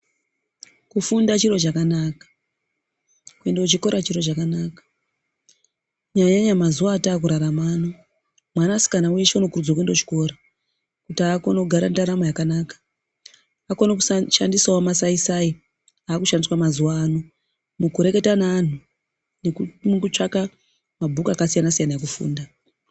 Kufunda chiro chakanaka, kuenda kuchikora chiro chakanaka, kunyanya nyanya mazuwa atakurarama ano, mwanasikana weshe unokuridzirwa kuende kuchikora kuti akone kugara ndaramo yakanaka, akone kushandisawo masai sai akushandiswa mazuwa ano mukureketa neanhu nemukutsvaka mabhuku akasiyana siyana ekufunda.